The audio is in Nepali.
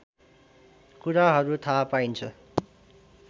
कुराहरू थाहा पाइन्छ